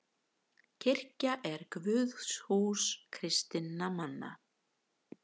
Kirkja er guðshús kristinna manna.